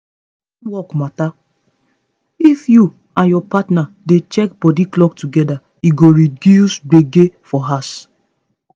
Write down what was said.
na teamwork matter o—if you and your partner dey check body clock together e go reduce gbege for house